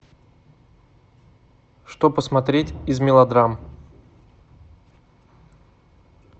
что посмотреть из мелодрам